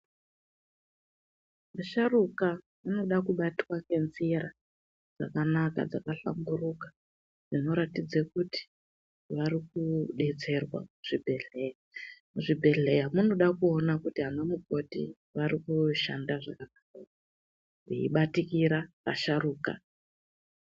Asharuka anoda kubatwa ngenzira dzakanaka, dzakahlamburika dzinoratidza kuti vari kudetserwa muzvibhehlera. Muzvibhehlera munoda kuona kuti anamukoti vari kushanda zvakanaka ere, veibatikira asharuka.